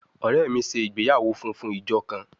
Ọrẹ mi ṣe igbeyawo funfun ijo kan